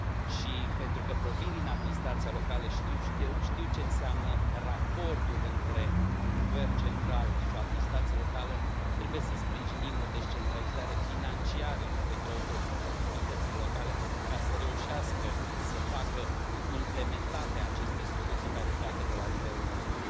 Și, pentru că provin din administrația locală și știu ce înseamnă raportul între un guvern central și o administrație locală, trebuie să sprijinim o descentralizare financiară pentru autoritățile locale, ca să reușească să facă implementate aceste soluții care pleacă de la nivelul nostru.